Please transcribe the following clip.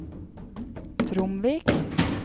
Tromvik